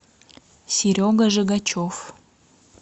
серега жигачев